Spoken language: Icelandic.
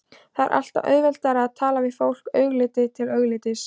Það var alltaf auðveldara að tala við fólk augliti til auglitis.